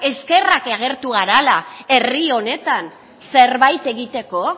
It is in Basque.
eskerrak agertu garela herri honetan zerbait egiteko